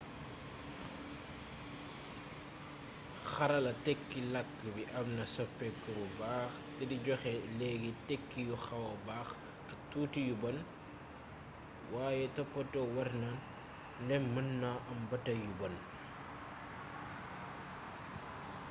xarala tékki lakk bi amna soppéku bu baax té di joxé léggi tékki yu xawa bax ak tuuti ci yu bonn waye toppato warna ndém mën na am batay yu bonn